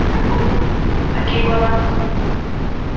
ха ха окей глонассс